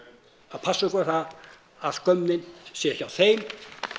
að passa upp á það að skömmin sé hjá þeim